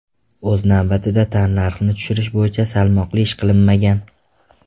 O‘z navbatida, tannarxni tushirish bo‘yicha salmoqli ish qilinmagan.